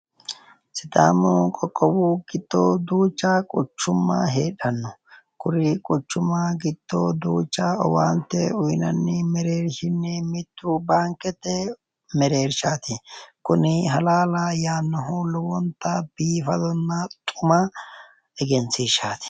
Sidaamu qoqqobba giddo duucha quchumma heedhanno kuri quchumma giddo duucha owaante uynanni mereershinni mittu baankete mereershaati kuni halaala yaannohu lowonta biifadonna xuma egensiishaati.